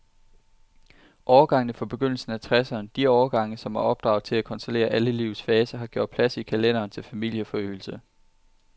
Årgangene fra begyndelsen af tresserne, de årgange, som er opdraget til at kontrollere alle livets faser, har gjort plads i kalenderen til familieforøgelse.